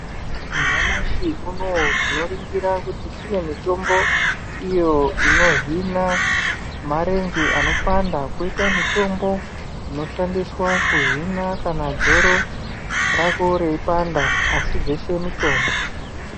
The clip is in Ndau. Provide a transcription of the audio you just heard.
Nyamashi unowu tinoona kuti kune mitombo iyo ino Hina marenje anopanda koita mitombo inoshandiswa kuhina kana dzoro rako rei panda asi dzeshe mitombo.